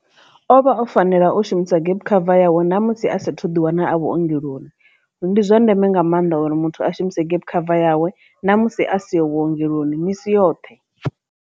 O vha o fanela u shumisa gap cover yawe ṋamusi a sa thu ḓi wana a vhuongeloni ndi zwa ndeme nga maanḓa uri muthu a shumise gap cover yawe na musi a si ho vhuongeloni misi yoṱhe.